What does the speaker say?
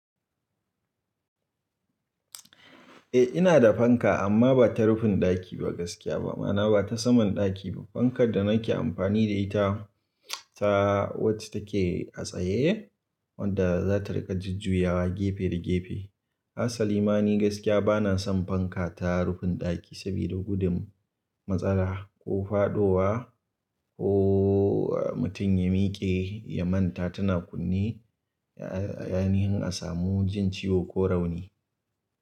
Eh ina da fanka amma ba ta rufin ɗaki ba gaskiya ba, ma'ana ba ta saman ɗaki ba. Fankar da nake amfani da ita, ta wacce take a tsaye wanda za ta riƙa jujjuyawa gefe da gefe. Hasalima ni gaskiya bana son fanka ta rufin ɗaki sabida gudun matsala ko faɗowa ko mutum ya miƙe ya manta tana kunne, ya-ya ainihin a samu jin ciwo ko rauni.